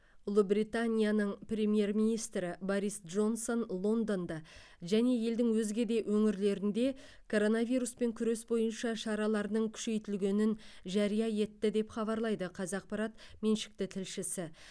ұлыбританияның премьер министрі борис джонсон лондонда және елдің өзге де өңірлерінде коронавируспен күрес бойынша шараларының күшейтілгенін жария етті деп хабарлайды қазақпарат меншікті тілшісі